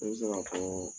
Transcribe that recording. Ne bɛ se ka fɔɔ